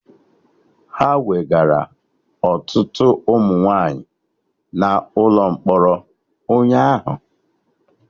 Ha wegara ọtụtụ ụmụ nwaanyị na ụlọ mkpọrọ ụnyaahụ